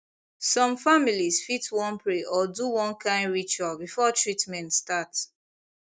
some families fit wan pray or do one kind ritual before treatment start